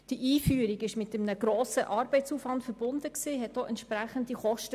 Die Einführung war mit einem grossen Arbeitsaufwand verbunden und verursachte entsprechende Kosten.